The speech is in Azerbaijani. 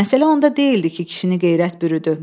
Məsələ onda deyildi ki, kişini qeyrət bürüdü.